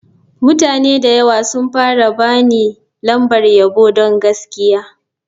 Mutane da yawa sun fara ba ni lambar yabo don gaskiya.